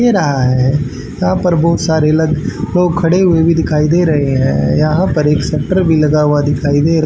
दे रहा है यहाँ पर बहुत सारे अलग लोग खड़े हुए भी दिखाइ दे रहे हैं यहाँ पर एक शटर भी लगा हुआ दिखाइ दे --